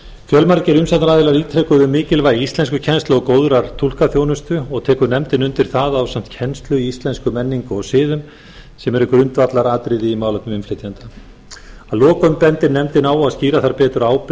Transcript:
fjölmargir umsagnaraðilar ítreka mikilvægi íslenskukennslu og góðrar túlkaþjónustu og tekur nefndin undir að það ásamt kennslu á íslenskri menningu og siðum sem eru grundvallaratriði í málefnum innflytjenda að lokum bendir nefndin á að skýra þarf betur ábyrgð